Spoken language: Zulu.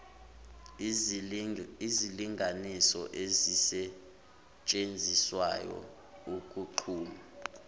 izilinganiso ezisetshenziswayo ukunquma